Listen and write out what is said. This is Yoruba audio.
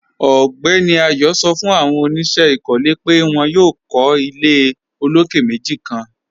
Ọgbẹ́ni Ayọ̀ sọ̀ fún awọn oníṣẹ ikọ́lẹ̀ pẹ̀ wọn yóò kọ̀ ilẹ̀ òlókè̀ mẹ́jì kan.